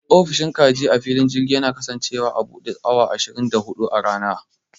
Ofishin kaji a filin girji yana kasancewa a buɗe awa ashirin da huɗu a rana.